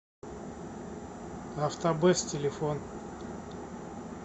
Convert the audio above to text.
автобест телефон